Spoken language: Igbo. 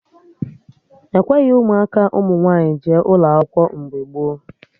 Ekweghị ụmụaka ụmụ nwaanyị jee ụlọ akwụkwọ mgbe gboo